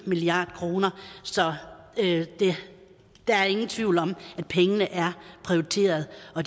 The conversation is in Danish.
milliard kroner så der er ingen tvivl om at pengene er prioriteret og